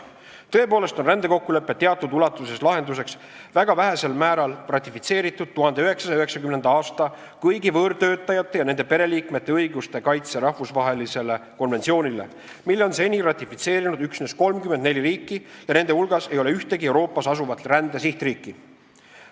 Tõepoolest on rändekokkulepe teatud ulatuses lahenduseks väga vähesel määral ratifitseeritud 1990. aasta kõigi võõrtöötajate ja nende pereliikmete õiguste kaitse rahvusvahelisele konventsioonile, mille on seni ratifitseerinud üksnes 34 riiki ja nende hulgas ei ole ühtegi Euroopas asuvat rände sihtriiki.